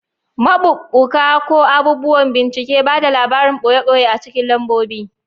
Maɓuɓɓuka, ko abubuwan bincike, ba da labarin ɓoye ɓoye a cikin lambobi.